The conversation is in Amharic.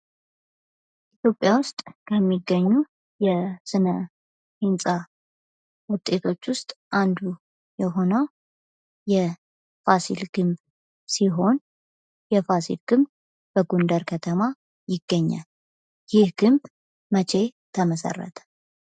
ኢትዮጵያ ውስጥ ከሚገኙ የስነህንጻ ውጤቶች ውስጥ አንዱ የሆነው የፋሲል ግንብ ሲሆን የፋሲል ግንብ በጎንደር ከተማ ይገኛል። ይህ ግንብ መቼ ተመሠረተ?